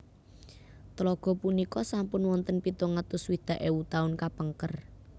Tlaga punika sampun wonten pitung atus swidak ewu taun kapengker